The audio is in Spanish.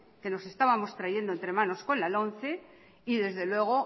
que nos estábamos trayendo entre manos con la lomce y desde luego